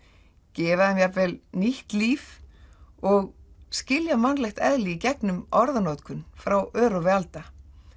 gefa þeim jafnvel nýtt líf og skilja mannlegt eðli í gegnum orðanotkun frá örófi alda